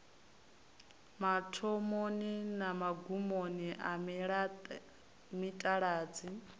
mathomoni na magumoni a mitaladzi